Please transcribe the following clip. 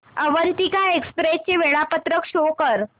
Avantika express चे वेळापत्रक show कर